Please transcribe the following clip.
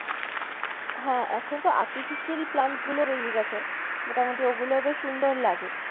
হ্যাঁ এখন তো artificial plant গুলো বেরিয়ে গেছে মোটামটি ওগুলো বেশ সুন্দর লাগে।